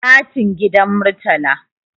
katun gidan murtala